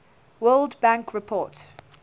world bank report